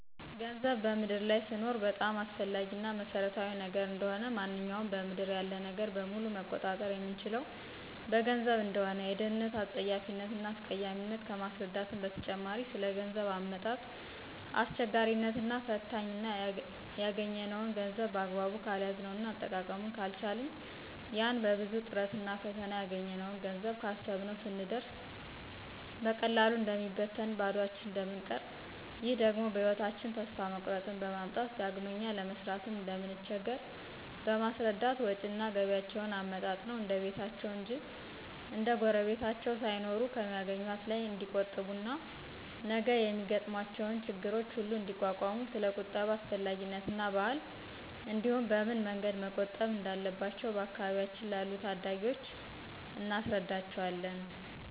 ገንዘብ በምድር ላይ ስንኖር በጣም አስፈላጊ እና መሰረታዊ ነገር እንደሆነ፣ ማንኛውንም በምድር ያለ ነገር በሙሉ መቆጣጠር የምንችለው በገንዘብ እንደሆነ፣ የድህነትን አጸያፊነት እና አስቀያሚነት ከማስረዳትም በተጨማሪ ስለገንዘብ አመጣጥ አስቸጋሪነት እና ፈታኝነት እና ያገኝነውን ገንዘብ በአግባቡ ካልያዝነው እና አጠቃቀሙን ካልቻልን ያን በብዙ ጥረትና ፈተና ያገኘነውን ገንዘብ ካሰብነው ስንደርስ በቀላሉ እንደሚበትንና ባዷችን እንደምንቀር ይህ ደግሞ በህይወታቸን ተስፋ መቁረጥን በማምጣት ዳግመኛ ለመስራትም እንደምንቸገር በማስረዳት ወጭና ገቢያቸዉን አመጣጥነው እንደቤታቸው እንጅ እንደጉረቤታቸው ሳይኖሩ ከሚአገኙት ላይ ንዲቆጥቡ እና ነገ የሚገጥሟቸው ችግሮች ሁሉ እንዲቋቋሙ ስለቁጠባ አስፈላጊነትና ባህል እንዲህም በምን መንገድ መቆጠብ እንዳለባቸው በአካባቢያችን ላሉ ታዳጊወች እናስረዳቸዋለን።